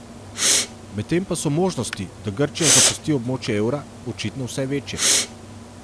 Medtem pa so možnosti, da Grčija zapusti območje evra, očitno vse večje.